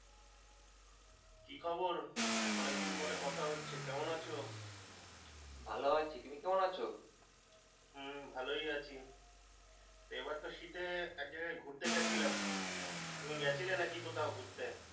কি খবর অনেকদিন পরে কথা হচ্ছে কেমন আছো ভালো আছি তুমি কেমন আছো হম ভালোই আছি এবার তো শীতে এক জায়গায় ঘুরতে গেছিলাম তুমি গেছিলে নাকি কোথাও ঘুরতে।